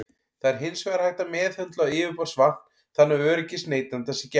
Það er hins vegar hægt að meðhöndla yfirborðsvatn þannig að öryggis neytenda sé gætt.